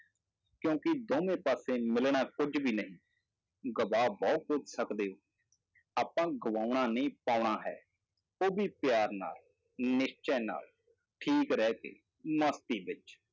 ਕਿਉਂਕਿ ਦੋਵੇਂ ਪਾਸੇ ਮਿਲਣਾ ਕੁੱਝ ਵੀ ਨਹੀਂ, ਗਵਾ ਬਹੁਤ ਕੁੱਝ ਸਕਦੇ, ਆਪਾਂ ਗਵਾਉਣਾ ਨਹੀਂ ਪਾਉਣਾ ਹੈ, ਉਹ ਵੀ ਪਿਆਰ ਨਾਲ ਨਿਸ਼ਚੈ ਨਾਲ ਠੀਕ ਰਹਿ ਕੇ ਮਸਤੀ ਵਿੱਚ।